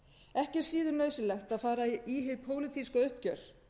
ekki er síður nauðsynlegt að fara í hið pólitíska uppgjör